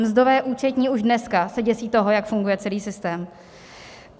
Mzdové účetní už dneska se děsí toho, jak funguje celý systém.